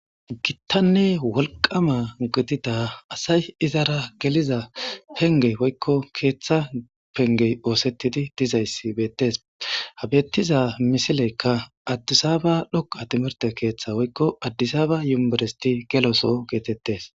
Gittanne wolqqama unkkattida asay izzara geliza pengge woykko keththa penggey ossetidi dezayssi bettes. Ha bettiza misilekka addisaba dhoqqa timirte kaththa woykko addisaba univerestte gelo soho gettetees.